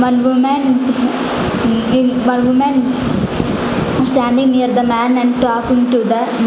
one women one women standing near the man and talking to the --